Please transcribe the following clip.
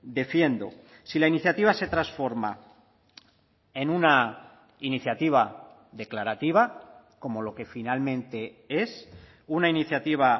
defiendo si la iniciativa se transforma en una iniciativa declarativa como lo que finalmente es una iniciativa